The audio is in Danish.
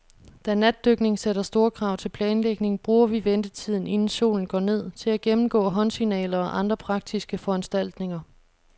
Da natdykning sætter store krav til planlægning, bruger vi ventetiden, inden solen går ned, til at gennemgå håndsignaler og andre praktiske foranstaltninger.